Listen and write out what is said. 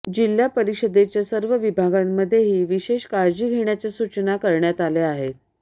जिल्हा परिषदेच्या सर्व विभागांमध्येही विशेष काळजी घेण्याच्या सूचना करण्यात आल्या आहेत